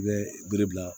I bɛ bere bila